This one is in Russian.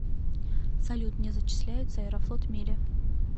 салют не зачисляются аэрофлот мили